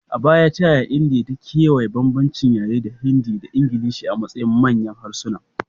A baya, ta yaya Indiya ta kewaya bambancin yare da Hindi da Ingilishi a matsayin manyan harsuna?